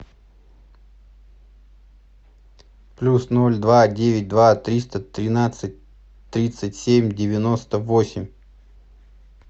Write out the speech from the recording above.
плюс ноль два девять два триста тринадцать тридцать семь девяносто восемь